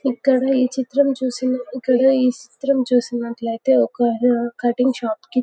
ఇక్కడ ఈ చిత్రం చూసినట్లు అయితే ఒక కట్టింగ్ షాప్ కి --